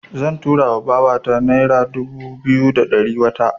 Zan tura wa babata nera dubu biyu da ɗari wata.